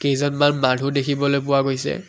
কেইজনমান মানুহ দেখিবলৈ পোৱা গৈছে।